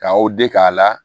K'aw deg'a la